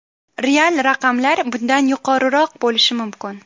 Real raqamlar bundan yuqoriroq bo‘lishi mumkin.